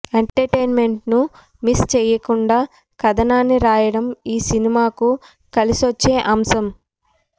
ఎంటర్టైన్మెంట్ను miss చేయకుండా కథనాన్ని రాయడం ఈ సినిమాకు కలిసొచ్చే అంశం